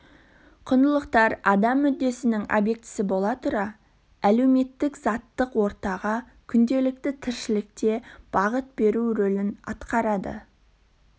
құндылықтар адам мүддесінің объектісі бола тұра әлеуметтік заттық ортадағы күнделікті тіршілікте бағыт беру рөлін атқарады